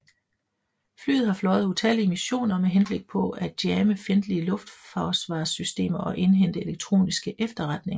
Flyet har fløjet utallige missioner med henblik på at jamme fjendtlige luftforsvarssystemer og indhente elektroniske efterretninger